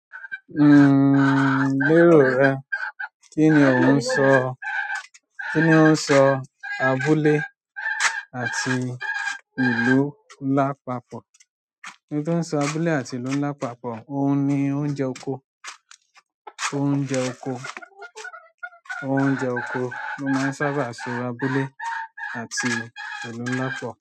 Gbẹ́rọ̀ rẹ. Kí ni ò ń sọ? Kí ni ó ń sọ abúlé àti ìlú lápapọ̀? Ohun tó ń sọ abúlé àti ìlú ńlá papọ̀, òun ni oúnjẹ oko, oúnjẹ oko, oúnjẹ oko ló máa ń sábà sọ abúlé àti ìlú ńlá lápapọ̀